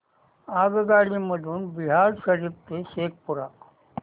आगगाडी मधून बिहार शरीफ ते शेखपुरा